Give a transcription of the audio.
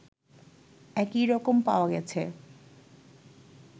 একই রকম পাওয়া গেছে